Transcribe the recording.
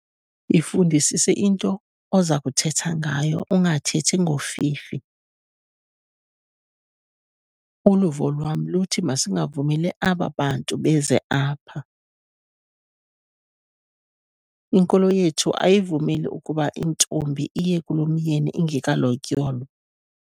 Yifundisise into oza kuthetha ngayo ungathethi ngofifi. Uluvo lwam luthi masingavumeli aba bantu beze apha, inkolo yethu ayivumeli ukuba intombi iye kulomyeni ingekalotyolwa